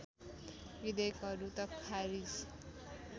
विधेयकहरू त खारिज